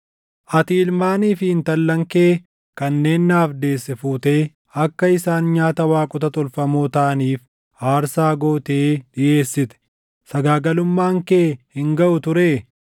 “ ‘Ati ilmaanii fi intallan kee kanneen naaf deesse fuutee akka isaan nyaata waaqota tolfamoo taʼaniif aarsaa gootee dhiʼeessite. Sagaagalummaan kee hin gaʼu turee?